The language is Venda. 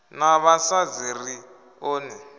na vhasadzi ri ḓo ni